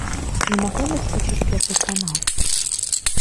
ты не могла бы включить первый канал